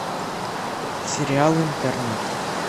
сериал интерны